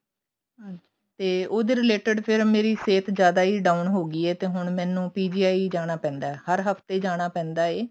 ਤੇ ਉਹਦੇ related ਮੇਰੀ ਸਹਿਤ ਜਿਆਦਾ ਹੀ down ਹੋਗੀ ਹੈ ਇਹ ਤੇ ਹੁਣ ਮੈਨੂੰ PGI ਜਾਣਾ ਪੈਂਦਾ ਹਰ ਹਫਤੇ ਜਾਣਾ ਪੈਂਦਾ ਹੈ